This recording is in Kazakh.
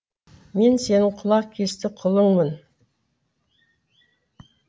мен сенің құлақ кесті құлыңмын